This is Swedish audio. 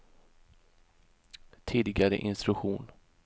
tidigare instruktion